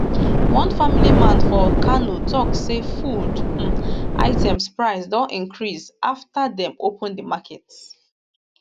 one family man for kano tok say food um items price don increase afta dem open di market